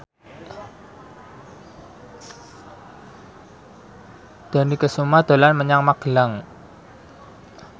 Dony Kesuma dolan menyang Magelang